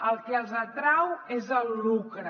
el que els atrau és el lucre